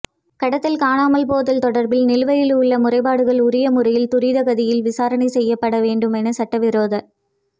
கடத்தல்கள் காணாமல் போதல்கள் தொடர்பில் நிலவையில் உள்ள முறைப்பாடுகள் உரிய முறையில் துரித கதியில் விசாரணை செய்யப்பட வேண்டுமென சட்டவிரோத